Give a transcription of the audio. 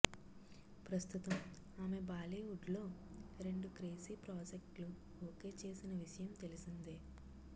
ప్రస్తుతం ఆమె బాలీవుడ్లో రెండు క్రేజీ ప్రాజెక్ట్లు ఓకే చేసిన విషయం తెలిసిందే